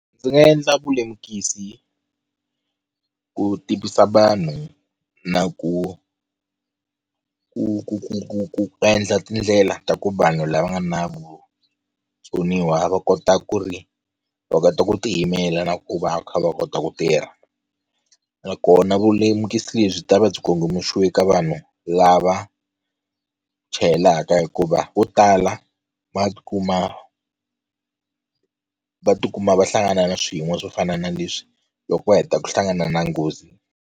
Ndzi nga endla vulemukisi ku tivisa vanhu na ku ku ku endla tindlela ta ku vanhu lava nga na vutsoniwa va kota ku ri va kota ku tiyimela na ku va va kha va kota ku tirha nakona vulemukisi byi ta va byi kongomisiwe ka vanhu lava chayelaka hikuva vo tala va tikuma va tikuma va hlangana na swiyimo swo fana na leswi loko va heta ku hlangana na nghozi.